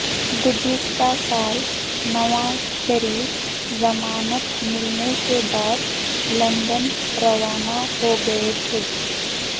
گذشتہ سال نواز شریف ضمانت ملنے کے بعد لندن روانہ ہو گئے تھے